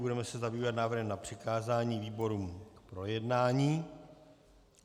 Budeme se zabývat návrhem na přikázání výborům k projednání.